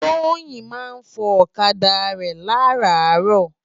Toyin má n fò òkadá rè làrárò